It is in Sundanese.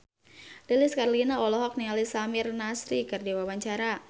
Lilis Karlina olohok ningali Samir Nasri keur diwawancara